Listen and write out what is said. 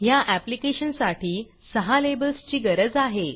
ह्या ऍप्लीकेशनसाठी सहा लेबल्स ची गरज आहे